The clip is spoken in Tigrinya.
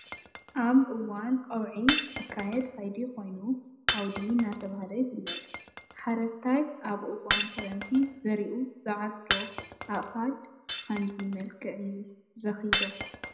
ኣብ እዋን ቁዒ ዝካየድ ከይዲ ኮይኑ ዓውዲ እናተበሃል ይፍለጥ ።ሐ ሓረስታይ ኣብ እዋን ክረምቲ ዘሪኡ ዝዓፀዶ ኣእካል ብከምዚ መልክዕ እዩ ዘክይዶ።